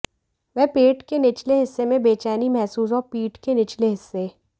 वह पेट के निचले हिस्से में बेचैनी महसूस और पीठ के निचले हिस्से